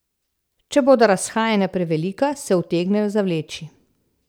Če bodo razhajanja prevelika, se utegnejo zavleči.